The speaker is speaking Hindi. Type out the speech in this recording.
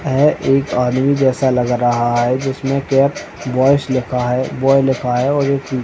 यह एक आदमी जैसा लग रहा है जिसमे कैप बॉयज लिखा है बॉय लिखा है और --